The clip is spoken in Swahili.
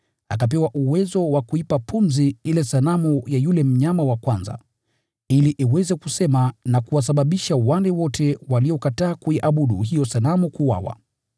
Akapewa uwezo wa kuipa pumzi ile sanamu ya yule mnyama wa kwanza, ili iweze kusema na kuwasababisha wale wote waliokataa kuiabudu hiyo sanamu kuuawa.